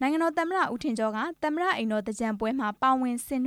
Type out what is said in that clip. နိုင်ငံတော်သမ္မတ ဦးထင်ကျော် က သမ္မတအိမ်တော်မှာ ကျင်းပတဲ့ မဟာသြင်္ကန်ပွဲတော်မှာ ပါဝင်ဆင်န